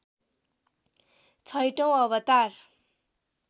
छैठौँ अवतार